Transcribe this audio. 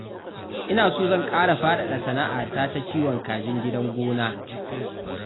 Ina so zan ƙara faɗaɗa sana'a ta ta kiwon kajin gidan gona